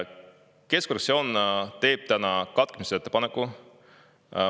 Keskfraktsioon teeb täna katkemise ettepaneku.